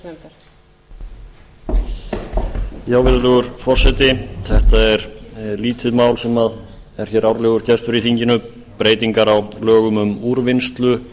virðulegur forseti þetta er lítið mál sem er árlegur gestur í þinginu breytingar á lögum um úrvinnslusjóð